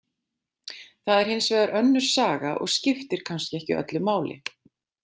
Það er hins vegar önnur saga og skiptir kannski ekki öllu máli.